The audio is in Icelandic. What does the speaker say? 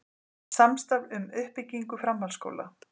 Samstarf um uppbyggingu framhaldsskóla